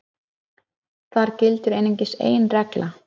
þar gildir einungis ein regla